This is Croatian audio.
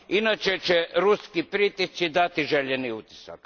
Inače će ruski pritisci dati željeni učinak.